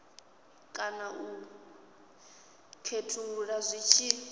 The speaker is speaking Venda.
kana u khethulula zwi tshi